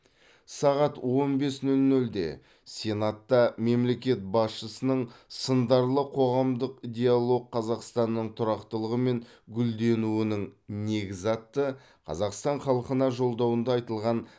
сағат он бес нөл нөлде сенатта мемлекет басшысының сындарлы қоғамдық диалог қазақстанның тұрақтылығы мен гүлденуінің негізі атты қазақстан халқына жолдауында айтылған